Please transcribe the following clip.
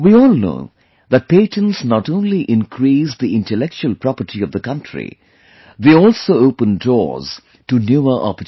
We all know that patents not only increase the Intellectual Property of the country; they also open doors to newer opportunities